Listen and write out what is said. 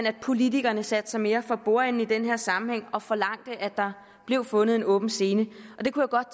at politikerne satte sig mere for bordenden i den her sammenhæng og forlangte at der blev fundet en åben scene jeg kunne godt